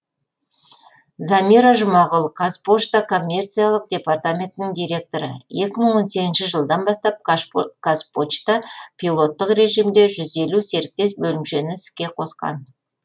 замира жұмағұл қазпошта коммерциялық департаментінің директоры екі мың он сегізінші жылдан бастап казпочта пилоттық режимде жүз елу серіктес бөлімшені іске қосқан